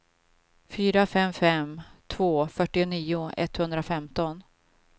fyra fem fem två fyrtionio etthundrafemton